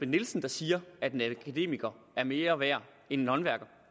nielsen der siger at en akademiker er mere værd end en håndværker